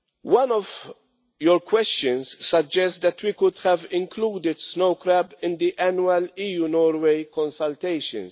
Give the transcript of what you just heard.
One of your questions suggest that we could have included snow crab in the annual EU Norway consultations.